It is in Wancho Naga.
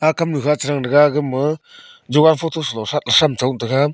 agam kaamnu kha chatang thaga gama jogan photo salo sam sam chong taga.